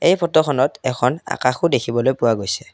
এই ফটোখনত এখন আকাশো দেখিবলৈ পোৱা গৈছে।